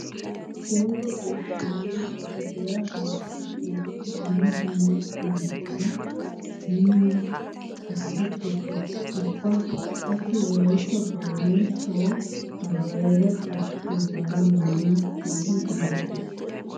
Gooba goshshanchchay ba gadiya loytti oottidi dumma dumma unkkuwa miyo kattata tokkees. Ubba qassi wolaytta boynay sawo barbbariya caddidoogaara maanawu keehin injjetees.